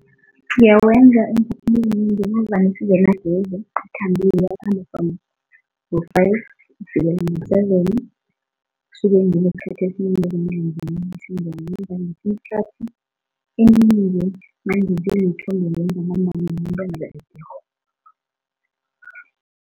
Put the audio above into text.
Ngiyawenza umsebenzi singanagezi ikhambile, ikhambe from ngo-five kufikela ngo-seven, kusuke nginesikhathi esinengi sokuthi ngiwenze, ngesinye isikhathi ngisuke ngiwenze